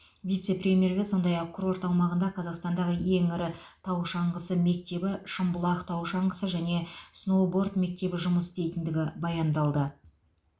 вице премьерге сондай ақ курорт аумағында қазақстандағы ең ірі тау шаңғысы мектебі шымбұлақ тау шаңғысы және сноуборд мектебі жұмыс істейтіндігі баяндалды